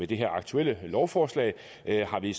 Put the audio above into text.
det aktuelle lovforslag har vi